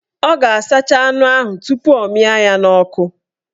Ọ ga-asacha anụ ahụ tupu ọ mịa ya n'ọkụ